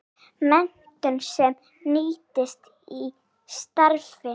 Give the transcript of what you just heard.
Menntun sem nýtist í starfi.